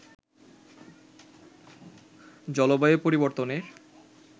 জলবায়ুর পরিবর্তনের